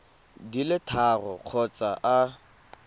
di le tharo kgotsa a